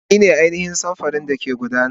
Ni ne ainihin samfurin da ke gudana.